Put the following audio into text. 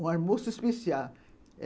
Um almoço especial.